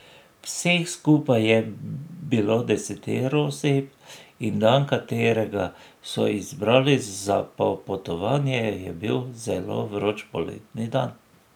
Vseh skupaj je bilo desetero oseb in dan, katerega so izbrali za popotovanje, je bil zelo vroč poleten dan.